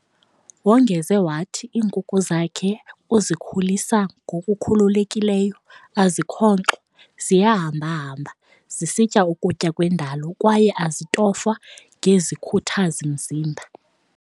Wongeze wathi iinkukhu zakhe uzikhulisa ngokukhululekileyo, azikhonkxwa ziyahamba-hamba zisitya ukutya kwendalo kwaye azitofwa ngezikhuthazi-mzimba.